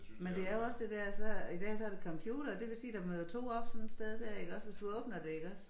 Men det er også det dér så i dag så det computere det vil sige der møder 2 op sådan et sted dér iggås hvis du åbner det iggås